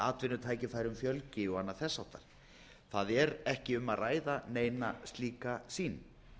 atvinnutækifærum fjölgi og annað þess háttar það er ekki um að ræða neina slíka sýn